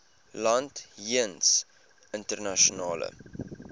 land jeens internasionale